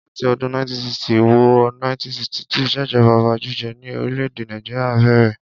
Láti ọdún 1960 wo 1963 ìṣèjọba ọba jíjẹ ni orílè-èdè Nàìjíríà bèrè.